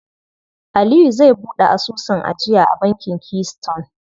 Aliyu zai buɗe asusun ajiya a bankin Keystone.